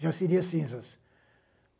Já seria cinzas.